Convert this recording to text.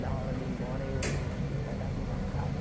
Da hora de ir embora, eu eu pegava e ia para casa.